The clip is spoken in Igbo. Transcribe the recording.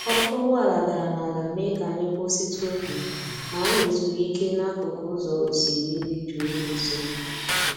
ọkụ́ ụgbọala dara n'ala mee ka anyị kwụsịtụ oge, ma anyị zuru ike n'akụkụ ụzọ osimiri dị jụụ dị nso.